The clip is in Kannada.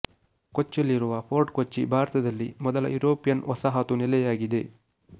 ಕೊಚ್ಚಿಯಲ್ಲಿರುವ ಫೋರ್ಟ್ ಕೊಚ್ಚಿ ಭಾರತದಲ್ಲಿ ಮೊದಲ ಯುರೋಪಿಯನ್ ವಸಾಹತು ನೆಲೆಯಾಗಿದೆ